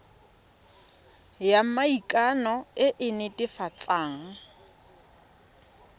ya maikano e e netefatsang